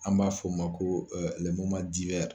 An b'a fɔ o ma ko